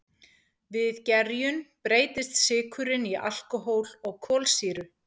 Við gerjun breytist sykurinn í alkóhól og kolsýru.